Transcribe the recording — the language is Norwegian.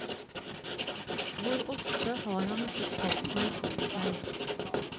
Hvor ofte har han ikke kalt meg til seg.